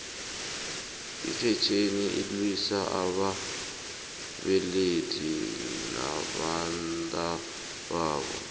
ifetjheni ilwisa ababelethi nabantababo